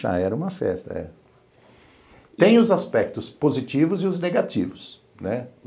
Já era uma festa, é. Tem os aspectos positivos e os negativos, né?